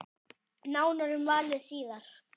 Nánar um valið síðar.